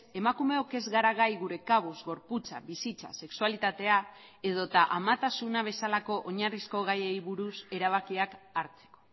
emakumeok ez gara gai gure kabuz gorputza bizitza sexualitatea edota amatasuna bezalako oinarrizko gaiei buruz erabakiak hartzeko